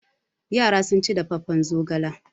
Yara sun ci dafaffen zogala.